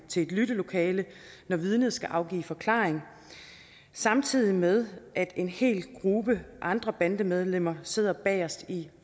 til et lyttelokale når vidnet skal afgive forklaring samtidig med at en hel gruppe andre bandemedlemmer sidder bagest i